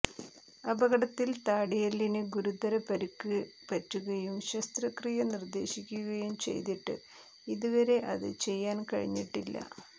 അപകടത്തിൽ താടിയെല്ലിന് ഗുരുതര പരിക്ക് പറ്റുകയും ശസ്ത്രക്രിയ നിർദ്ദേശിക്കുകയും ചെയ്തിട്ട് ഇതുവരെ അത് ചെയ്യാൻ കഴിഞ്ഞിട്ടില്ല